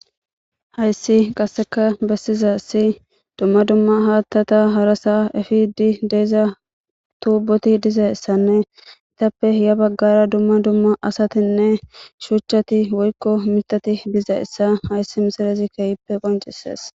Hayssi qasseka besizaysi dumma dumma haattata harasa epidi de'iza tubboti dizayssanne izappe ya baggara dumma dumma asatinne shuchchati woykko mittati dizayssa hayssi misilezi keehippe qoncises.